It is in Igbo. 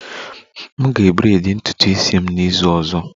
M ga-braid ntutu isi m n'izu ọzọ